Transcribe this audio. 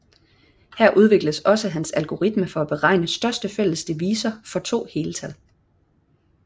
Her udvikles også hans algoritme for at beregne største fælles divisor for to heltal